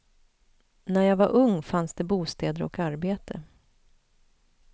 När jag var ung fanns det bostäder och arbete.